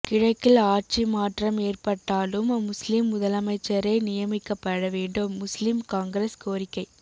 கிழக்கில் ஆட்சி மாற்றம் ஏற்பட்டாலும் முஸ்லிம் முதலமைச்சரே நியமிக்கப்பட வேண்டும் முஸ்லிம் காங்கிரஸ் கோரிக்கை